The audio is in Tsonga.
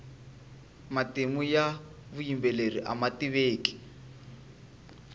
matimu ya vuyimbeleri ama tiveki